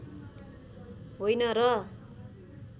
होइन र